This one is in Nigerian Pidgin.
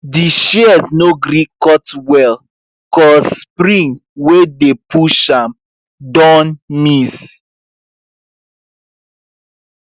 di shears no gree cut well cause spring wey dey push am don miss